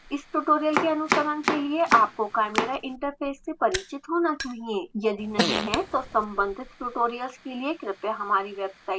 इस ट्यूटोरियल के अनुसरण के लिए आपको chimera इंटरफ़ेस से परिचित होना चाहिए यदि नहीं हैं तो सम्बंधित ट्यूटोरियल्स के लिए कृपया हमारी वेबसाइट पर जाएँ